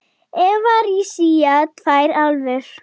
Evrasía tvær álfur.